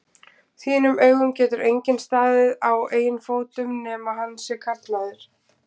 þínum augum getur enginn staðið á eigin fótum nema hann sé karlmaður.